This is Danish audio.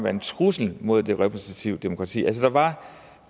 en trussel mod det repræsentative demokrati altså der var